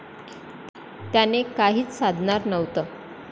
त्याने काहीच साधणार नव्हतं.